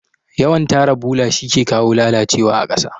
Yawan tara bola shike kawo lalacewa ƙasa